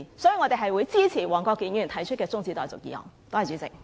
所以，我們會支持黃國健議員提出的辯論中止待續議案。